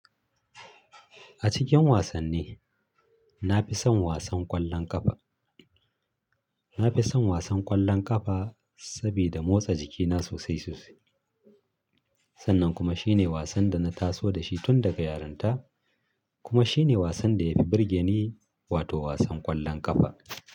A cikin wasanni, na fi son wasan ƙwallon ƙafa. Na fi son wasan ƙwallon ƙafa sabida motsa jikina sosai sosai. Sannan kuma shine wasan da na taso da shi tun daga yarinta kuma shine wasan da ya fi burge ni, wato wasan ƙwallon ƙafa.